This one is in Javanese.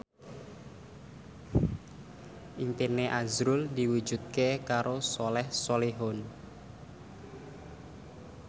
impine azrul diwujudke karo Soleh Solihun